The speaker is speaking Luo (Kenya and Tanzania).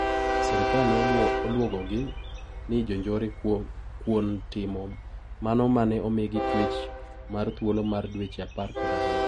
Sirkal ne olwogogi ni jonjore kuon timo mano mane omigi twech mar thuolo mar dweche apar kod aboro.